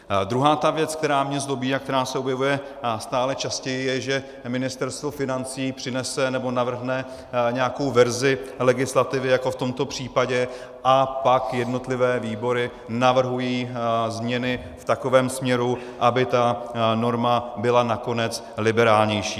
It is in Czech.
Druhá ta věc, která mě zlobí a která se objevuje stále častěji, je, že Ministerstvo financí přinese nebo navrhne nějakou verzi legislativy jako v tomto případě a pak jednotlivé výbory navrhují změny v takovém směru, aby ta norma byla nakonec liberálnější.